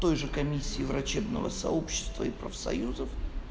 той же комиссией врачебного сообщества и профсоюзов